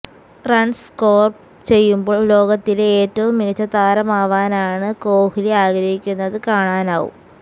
runs score ചെയ്യുമ്പോൾ ലോകത്തിലെ ഏറ്റവും മികച്ച താരമാവാനാണ് കോഹ് ലി ആഗ്രഹിക്കുന്നത് കാണാനാവും